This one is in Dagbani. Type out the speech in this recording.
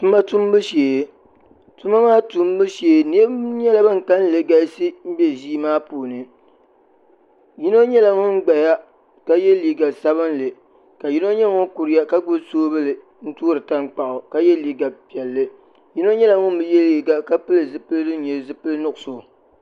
Tuma tumbu shee tuma maa tumbu shee niriba nyɛla ban kalinli galisi m-be ʒia maa puuni yino nyɛla ŋun gbaya ka ye liiga sabinli ka yino nyɛ ŋun kuriya ka gbubi soobuli n-toori tankpaɣu ka ye liiga piɛlli yino nyɛla ŋun bi ye liiga ka pili zipiligu din nyɛ zipil' nuɣiso